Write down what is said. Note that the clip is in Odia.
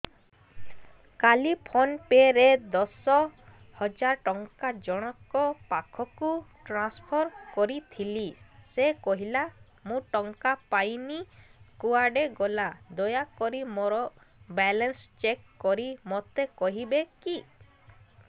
କାଲି ଫୋନ୍ ପେ ରେ ଦଶ ହଜାର ଟଙ୍କା ଜଣକ ପାଖକୁ ଟ୍ରାନ୍ସଫର୍ କରିଥିଲି ସେ କହିଲା ମୁଁ ଟଙ୍କା ପାଇନି କୁଆଡେ ଗଲା ଦୟାକରି ମୋର ବାଲାନ୍ସ ଚେକ୍ କରି ମୋତେ କହିବେ କି